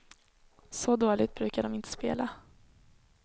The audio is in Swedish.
Så dåligt brukar de inte spela.